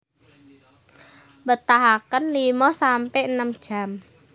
Mbetahaken limo sampe enem jam